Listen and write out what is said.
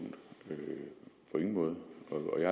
en måde